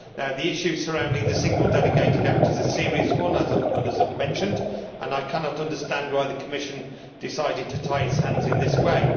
The issue surrounding the single delegated act is a serious one, as others have mentioned, and I cannot understand why the Commission decided to tie its hands in this way.